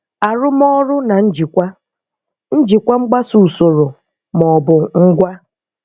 Arụmọrụ na njịkwa- Njịkwa mgbaso usoro maọbụ ngwa.